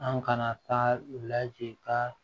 An kana taa laji ka